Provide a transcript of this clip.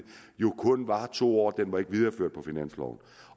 jo kun varer i to år den var ikke videreført på finansloven